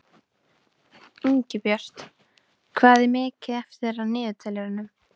Ingibjört, hvað er mikið eftir af niðurteljaranum?